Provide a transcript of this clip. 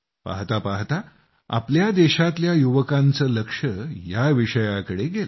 पाहता पाहता आपल्या देशातल्या युवकांचं लक्ष या विषयाकडं गेलं